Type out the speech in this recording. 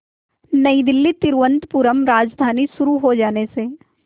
नई दिल्ली तिरुवनंतपुरम राजधानी शुरू हो जाने से